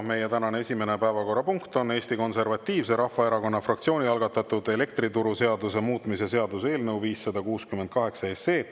Meie tänane esimene päevakorrapunkt on Eesti Konservatiivse Rahvaerakonna fraktsiooni algatatud elektrituruseaduse muutmise seaduse eelnõu 568.